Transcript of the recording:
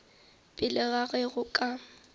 pele ga ge go ka